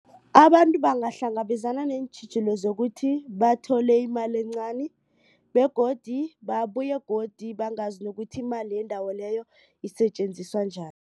Abantu bangahlangabezana neentjhijilo zokuthi bathole imali encani begodu babuye godu bangazi nokuthi imali yendawo leyo isetjenziswa njani.